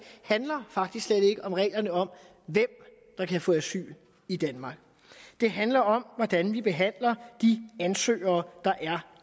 handler om reglerne om hvem der kan få asyl i danmark det handler om hvordan vi behandler de ansøgere der er